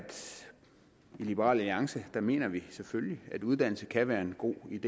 i liberal alliance mener vi selvfølgelig at uddannelse kan være en god idè